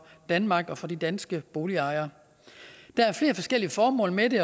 danmark og for de danske boligejere der er flere forskellige formål med det